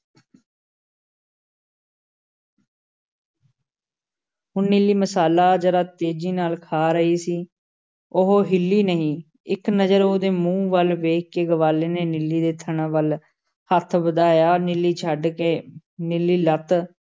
ਹੁਣ ਨੀਲੀ ਮਸਾਲਾ ਜ਼ਰਾ ਤੇਜ਼ੀ ਨਾਲ਼ ਖਾ ਰਹੀ ਸੀ, ਉਹ ਹਿੱਲੀ ਨਹੀਂ, ਇੱਕ ਨਜ਼ਰ ਉਹਦੇ ਮੂੰਹ ਵੱਲ ਵੇਖ ਕੇ ਗਵਾਲੇ ਨੇ ਨੀਲੀ ਦੇ ਥਣਾਂ ਵੱਲ ਹੱਥ ਵਧਾਇਆ, ਨੀਲੀ ਛੱਡ ਕੇ ਨੀਲੀ ਲੱਤ